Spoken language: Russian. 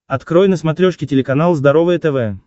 открой на смотрешке телеканал здоровое тв